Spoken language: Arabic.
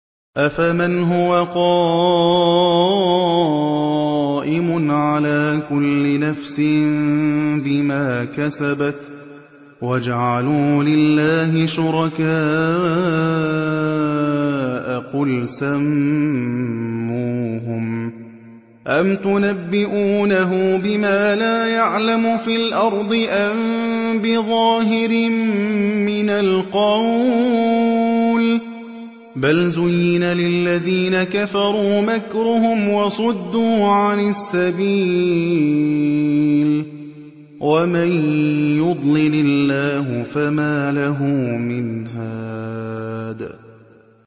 أَفَمَنْ هُوَ قَائِمٌ عَلَىٰ كُلِّ نَفْسٍ بِمَا كَسَبَتْ ۗ وَجَعَلُوا لِلَّهِ شُرَكَاءَ قُلْ سَمُّوهُمْ ۚ أَمْ تُنَبِّئُونَهُ بِمَا لَا يَعْلَمُ فِي الْأَرْضِ أَم بِظَاهِرٍ مِّنَ الْقَوْلِ ۗ بَلْ زُيِّنَ لِلَّذِينَ كَفَرُوا مَكْرُهُمْ وَصُدُّوا عَنِ السَّبِيلِ ۗ وَمَن يُضْلِلِ اللَّهُ فَمَا لَهُ مِنْ هَادٍ